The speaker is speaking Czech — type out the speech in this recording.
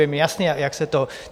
Je mi jasné, jak se to...